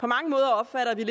på mange måder opfatter vi